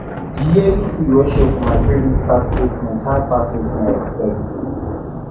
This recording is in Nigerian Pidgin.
the yearly fee wey show for my credit card statement high pass wetin i expect